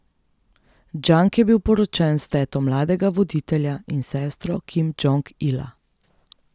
Džang je bil poročen s teto mladega voditelja in sestro Kim Džong Ila.